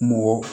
Mɔgɔ